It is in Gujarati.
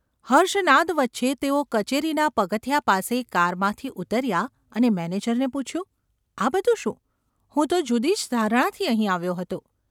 હર્ષનાદ વચ્ચે તેઓ કચેરીનાં પગથિયાં પાસે કારમાંથી ઊતર્યા અને મેનેજરને પૂછ્યું : ‘આ બધું શું ? હું તો જુદી જ ધારણાથી અહીં આવ્યો હતો.